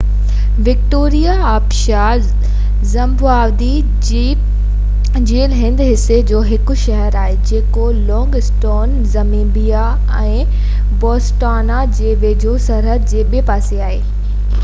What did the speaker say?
Victoria آبشار Zimbabwe جي الهندي حصي جو هڪ شهر آهي جيڪو لونگ اسٽون زيمبيا ۽ بوٽسوانا جي ويجهو سرحد جي ٻي پاسي آهي